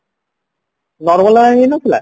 normal ବାଲା ହେଇନଥିଲା